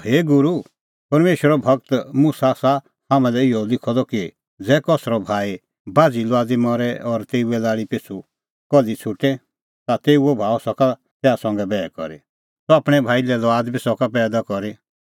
हे गूरू परमेशरे गूर मुसा आसा हाम्हां लै इहअ लिखअ द कि ज़ै कसरअ भाई बाझ़ी लुआदी मरे और तेऊए लाल़ी पिछ़ू कल्ही छ़ुटे ता तेऊओ भाऊ सका तैहा संघै बैह करी सह आपणैं भाई लै लुआद बी सका पैईदा करी